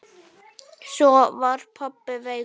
Svo var pabbi veikur.